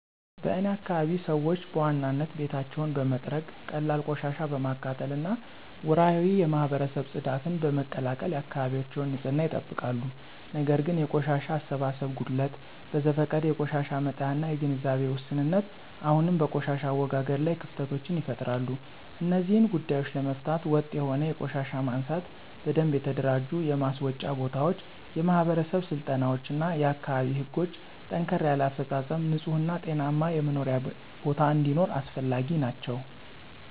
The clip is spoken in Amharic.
በእኔ አካባቢ ሰዎች በዋናነት ቤታቸውን በመጥረግ፣ ቀላል ቆሻሻ በማቃጠል እና ወርሃዊ የማህበረሰብ ጽዳትን በመቀላቀል የአካባቢያቸውን ንፅህና ይጠብቃሉ። ነገር ግን የቆሻሻ አሰባሰብ ጉድለት፣ በዘፈቀደ የቆሻሻ መጣያ እና የግንዛቤ ውስንነት አሁንም በቆሻሻ አወጋገድ ላይ ክፍተቶችን ይፈጥራሉ። እነዚህን ጉዳዮች ለመፍታት ወጥ የሆነ የቆሻሻ ማንሳት፣ በደንብ የተደራጁ የማስወጫ ቦታዎች፣ የማህበረሰብ ስልጠናዎች እና የአካባቢ ህጎችን ጠንከር ያለ አፈፃፀም ንፁህ እና ጤናማ የመኖሪያ ቦታ እንዲኖር አስፈላጊ ናቸው።